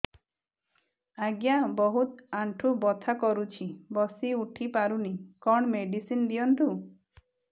ଆଜ୍ଞା ବହୁତ ଆଣ୍ଠୁ ବଥା କରୁଛି ବସି ଉଠି ପାରୁନି କଣ ମେଡ଼ିସିନ ଦିଅନ୍ତୁ